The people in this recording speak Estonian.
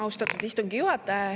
Austatud istungi juhataja!